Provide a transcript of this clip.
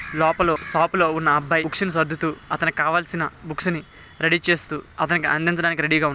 లోపల షాప్ లో ఉన్న అబ్బాయి బుక్స్ నీ సర్దుతూ అతనికి కావాల్సిన బుక్స్ నీ రెఢీ చేస్తూ అతనికి అందించడానికి రెఢీ గ--